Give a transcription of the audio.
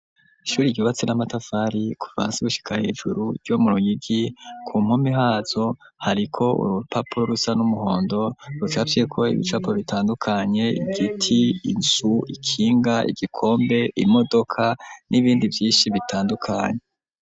Ishure ryubatswe n'amatafari kuva hasi gushika hejuru ryo muruyigi kumpome hazo hariko urupapuro rusa n'umuhondo rucapye ko ibicapo bitandukanye igiti ,inzi, ikinga, igikombe ,imodoka n'ibindi vyinshi bitandukanye.